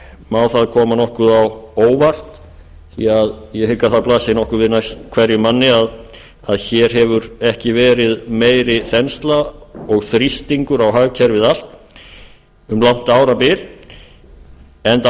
má það koma nokkuð á óvart því ég hygg að það blasi við hverjum manni að hér hefur ekki verið meiri þensla og þrýstingur á hagkerfið allt um langt árabil enda